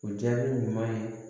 O jaabi ɲuman ye